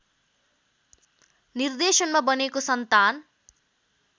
निर्देशनमा बनेको सन्तान